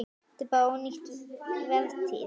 Þetta er bara ónýt vertíð.